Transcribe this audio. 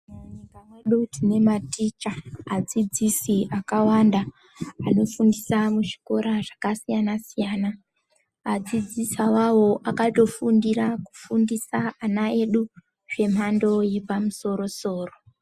Munyika mwedu tine maticha adzidzisi akawanda anofundisa muzvikora zvakasiyana siyana, adzidzisi awawo akatofundira kufundisa ana edu zvemhando yepamusoro soro.